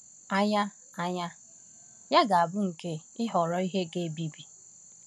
Agha Agha ya ga-abụ nke ịhọrọ ihe ga-ebibi.